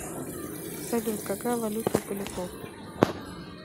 салют какая валюта у поляков